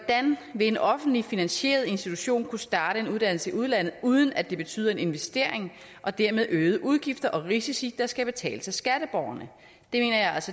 vil en offentligt finansieret institution kunne starte en uddannelse i udlandet uden at det betyder en investering og dermed øgede udgifter og risici der skal betales af skatteborgerne